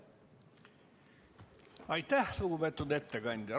Aitäh, lugupeetud ettekandja!